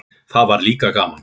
Það var líka gaman.